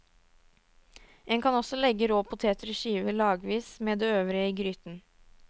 En kan også legge rå poteter i skiver lagvis med det øvrige i gryten.